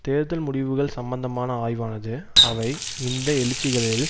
தேர்தல் முடிவுகள் சம்பந்தமான ஆய்வானது அவை இந்த எழுச்சிகளில்